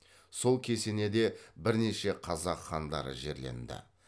сол кесенеде бірнеше қазақ хандары жерленді